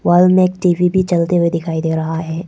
में एक टी_वी भी चलते हुए दिखाई दे रहा है।